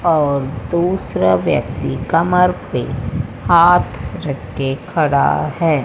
और दूसरा व्यक्ति कमर पे हाथ रख के खड़ा है।